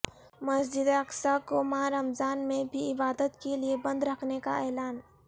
مسجد اقصی کو ماہ رمضان میں بھی عبادت کے لیے بند رکھنے کا اعلان